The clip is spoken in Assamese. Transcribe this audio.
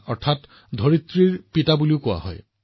আপুনি জানেনে ইয়াৰ অৰ্থ কি ইয়াৰ অৰ্থ হৈছে পৃথিৱীৰ পিতৃ